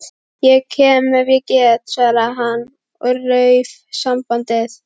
Ég kem ef ég get- svaraði hann og rauf sambandið.